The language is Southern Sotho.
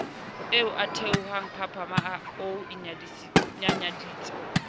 e theohang panama o inyanyaditse